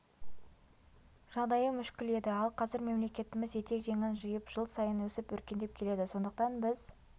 жағдайы мүшкіл еді ал қазір мемлекетіміз етек-жеңін жиып жыл сайын өсіп өркендеп келеді сондықтан біз